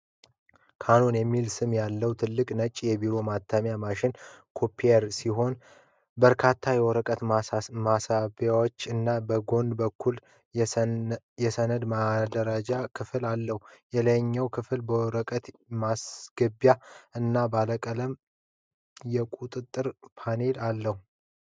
ካኖን (Canon) የሚል ስም ያለበት ትልቅ ነጭ የቢሮ ማተሚያ ማሽን (copier) ሲሆን፣ በርካታ የወረቀት መሳቢያዎች እና በጎን በኩል የሰነድ ማደራጃ ክፍል አለው። የላይኛው ክፍል የወረቀት ማስገቢያ እና ባለ ቀለም የቁጥጥር ፓነል አለው።